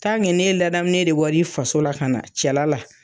n'e ladamulen de bɔri faso la ka na cɛla la.